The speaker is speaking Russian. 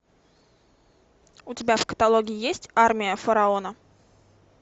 у тебя в каталоге есть армия фараона